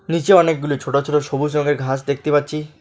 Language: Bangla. নীচে অনেকগুলি ছোট ছোট সবুজ রঙের ঘাস দেখতে পাচ্ছি।